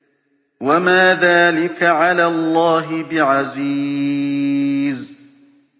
وَمَا ذَٰلِكَ عَلَى اللَّهِ بِعَزِيزٍ